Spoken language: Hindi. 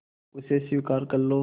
उसे स्वीकार कर लो